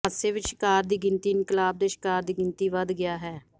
ਹਾਦਸੇ ਵਿਚ ਸ਼ਿਕਾਰ ਦੀ ਗਿਣਤੀ ਇਨਕਲਾਬ ਦੇ ਸ਼ਿਕਾਰ ਦੀ ਗਿਣਤੀ ਵੱਧ ਗਿਆ ਹੈ